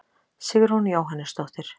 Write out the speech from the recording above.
Sigrún Jóhannesdóttir.